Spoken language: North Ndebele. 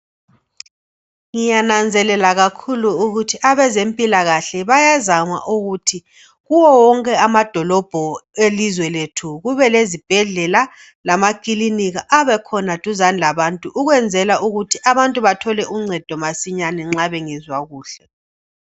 Ngiyananzelela kakhulu ukuthi abezempilakahle bayazama ukuthi kuwo yonke amadolobho elizwe lethu kubelezibhedlela lamakilinika abekhona duzane labantu kwenzela ukuthi abantu bathole uncedo masinyane nxa bengezwa kuhle.